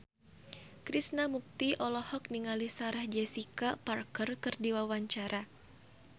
Krishna Mukti olohok ningali Sarah Jessica Parker keur diwawancara